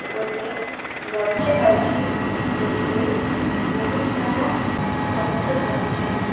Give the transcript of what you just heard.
ଗୋଟି ଗଛ ଅଛି ଏଥିରେ ବୋହୁତ୍ ସାରା ପତ୍ର ରହିଛି।